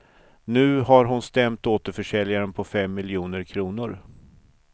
Nu har hon stämt återförsäljaren på fem miljoner kronor.